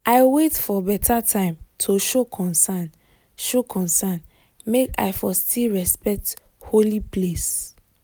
i wait for better time to show concern show concern make i for still respect holy place